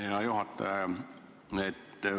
Aitäh, hea juhataja!